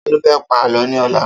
Ta ló fẹ́ pa Àlọ́ ni ọlá?